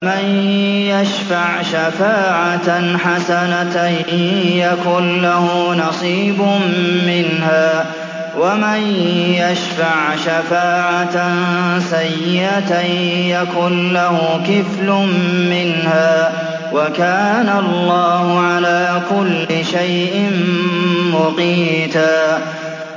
مَّن يَشْفَعْ شَفَاعَةً حَسَنَةً يَكُن لَّهُ نَصِيبٌ مِّنْهَا ۖ وَمَن يَشْفَعْ شَفَاعَةً سَيِّئَةً يَكُن لَّهُ كِفْلٌ مِّنْهَا ۗ وَكَانَ اللَّهُ عَلَىٰ كُلِّ شَيْءٍ مُّقِيتًا